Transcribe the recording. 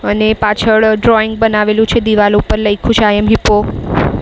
અને પાછળ ડ્રોઈંગ બનાવેલું છે દિવાલ ઉપર લયખું છે આઈ એમ હિપ્પો .